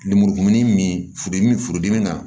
Lemurukumuni min furu dimin furu dimi na